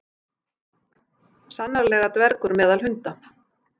Sannarlega dvergur meðal hunda.